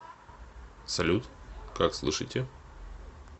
салют как слышите